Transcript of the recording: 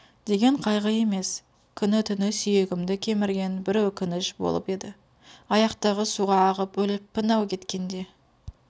деген қайғы емес күні-түні сүйегімді кемірген бір өкініш болып еді аяқтағы суға ағып өліппін-ау кеткенде